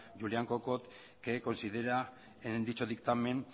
juliana kokott que considera en dicho dictamen